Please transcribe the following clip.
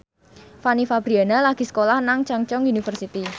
Fanny Fabriana lagi sekolah nang Chungceong University